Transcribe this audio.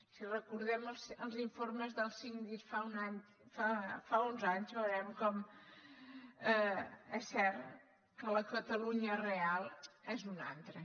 si recordem els informes del síndic fa uns anys veurem com és cert que la catalunya real és una altra